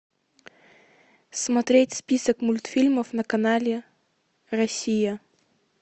смотреть список мультфильмов на канале россия